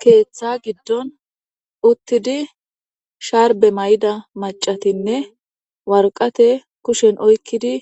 keeththa giddon uttidi sharbe may7ida macatinne warqate kushen oykkidi